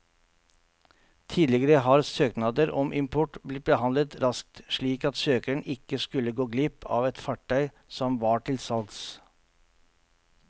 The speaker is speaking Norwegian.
Tidligere har søknader om import blitt behandlet raskt, slik at søkeren ikke skulle gå glipp av et fartøy som var til salgs.